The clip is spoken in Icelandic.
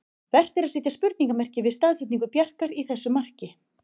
Vert er að setja spurningarmerki við staðsetningu Bjarkar í þessu marki.